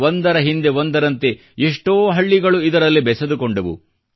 ಒಂದರ ಹಿಂದೆ ಒಂದರಂತೆ ಎμÉ್ಟೂೀ ಹಳ್ಳಿಗಳು ಇದರಲ್ಲಿ ಬೆಸೆದುಕೊಂಡವು